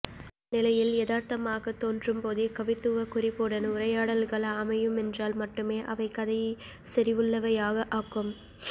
அந்நிலையில் யதார்த்தமாகத் தோன்றும்போதே கவித்துவக் குறிப்புடன் உரையாடல்கள் அமையுமென்றால் மட்டுமே அவை கதையை செறிவுள்ளவையாக ஆக்கும்